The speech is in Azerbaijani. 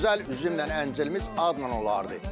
Gözəl üzümlə əncirimiz adla olardı.